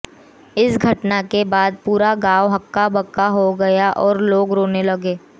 इस घटना के बाद पूरा गांव हक्का बक्का हो गया और लोग रोने लगे